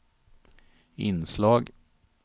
inslag